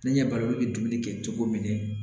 Ne ɲɛ balima olu bɛ dumuni kɛ cogo min na